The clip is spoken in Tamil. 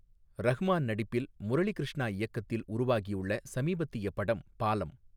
ரஹ்மான் நடிப்பில் முரளிகிருஷ்ணா இயக்கத்தில் உருவாகியுள்ள சமீபத்திய படம் பாலம்.